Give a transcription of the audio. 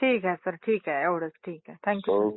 ठीक आहे सर ठीक आहे एव्हढंच ठीक आहे. Thank you sir